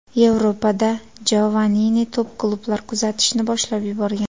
Yevropada Jovannini top-klublar kuzatishni boshlab yuborgan.